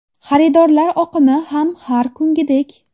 Xaridorlar oqimi ham har kungidek.